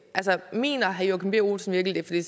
mener herre joachim b olsen virkelig